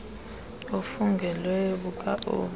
obufungelweyo buka obu